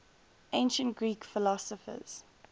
ancient greek philosophers